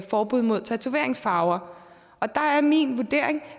forbud mod tatoveringsfarver og der er min vurdering